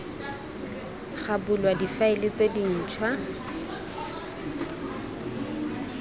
ga bulwa difaele tse dintšhwa